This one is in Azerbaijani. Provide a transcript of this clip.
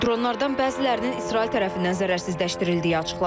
Dronlardan bəzilərinin İsrail tərəfindən zərərsizləşdirildiyi açıqlanıb.